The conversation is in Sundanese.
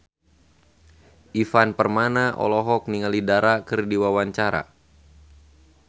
Ivan Permana olohok ningali Dara keur diwawancara